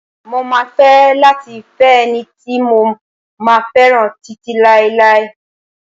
Mo máa fẹ́ láti fẹ́ ẹni tí mo máa fẹ́ràn títí láéláé.